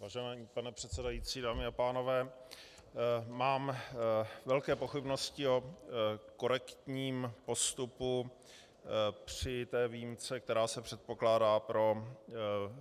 Vážený pane předsedající, dámy a pánové, mám velké pochybnosti o korektním postupu při té výjimce, která se předpokládá pro